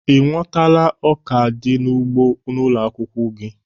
Ị nwọtala ọka di n'ugbo ụlọ akwụkwọ gị?